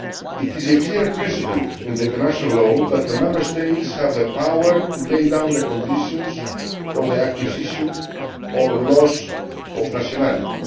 It is a clear principle in international law that the Member States have the power to lay down the conditions for the acquisition or loss of nationality.